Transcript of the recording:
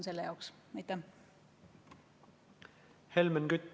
Helmen Kütt, palun!